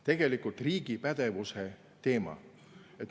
See on riigi pädevuse teema.